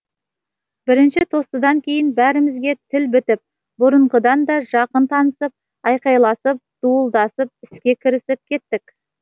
бірінші тостыдан кейін бәрімізге тіл бітіп бұрынғыдан да жақын танысып айқайласып дуылдасып іске кірісіп кеттік